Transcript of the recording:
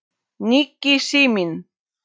Nikki, síminn